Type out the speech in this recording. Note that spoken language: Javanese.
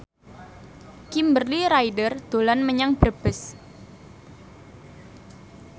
Kimberly Ryder dolan menyang Brebes